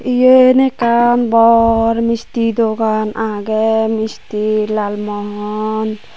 yen ekkan bor misti dogan age misti lalmohon.